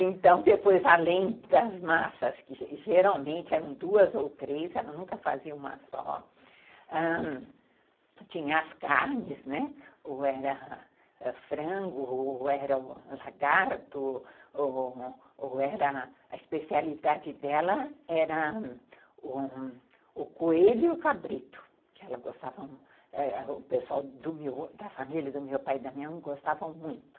Então, depois, além das massas, que geralmente eram duas ou três, ela nunca fazia uma só, ãh, tinha as carnes, né, ou era frango, ou era lagarto, ou a especialidade dela era o coelho e o cabrito, que o pessoal da família do meu pai e da minha mãe gostavam muito.